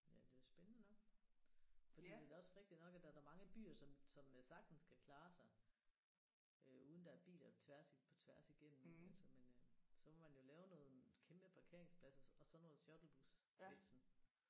Ja det er jo spændende nok fordi det er da også rigtig nok at der er da mange byer som som sagtens kan klare sig øh uden der er biler tværs på tværs igennem altså men øh så må man jo lave nogle kæmpe parkeringspladser så og så noget shuttlebus ik sådan